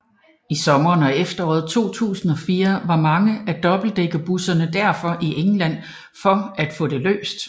I sommeren og efteråret 2004 var mange af dobbeltdækkerbusserne derfor i England for at få det løst